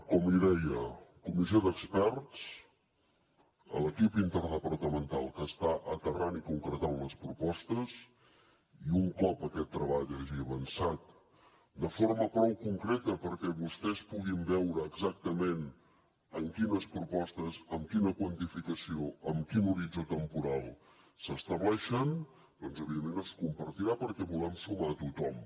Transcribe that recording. com li deia comissió d’experts a l’equip interdepartamental que està aterrant i concretant les propostes i un cop aquest treball hagi avançat de forma prou concreta perquè vostès puguin veure exactament en quines propostes amb quina quantificació amb quin horitzó temporal s’estableixen doncs evidentment es compartirà perquè volem sumar hi a tothom